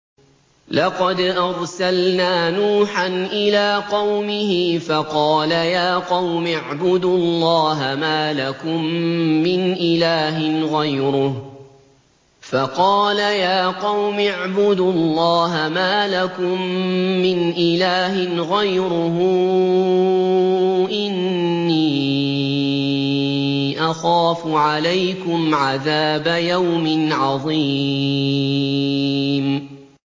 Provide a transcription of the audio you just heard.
لَقَدْ أَرْسَلْنَا نُوحًا إِلَىٰ قَوْمِهِ فَقَالَ يَا قَوْمِ اعْبُدُوا اللَّهَ مَا لَكُم مِّنْ إِلَٰهٍ غَيْرُهُ إِنِّي أَخَافُ عَلَيْكُمْ عَذَابَ يَوْمٍ عَظِيمٍ